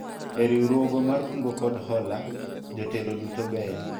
e riwruogwa mar kungo kod hola, jotelo duto beyo